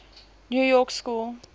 new york school